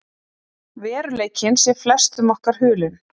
Veruleikinn sé flestum okkar hulinn.